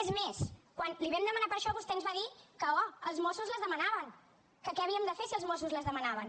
és més quan li vam demanar per això vostè ens va dir que oh els mossos les demanàvem que què havíem de fer si els mossos les demanaven